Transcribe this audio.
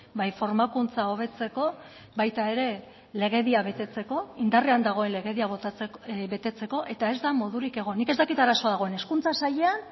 bai formakuntza hobetzeko baita ere legedia betetzeko indarrean dagoen legedia betetzeko eta ez da modurik egon nik ez dakit arazoa dagoen hezkuntza sailean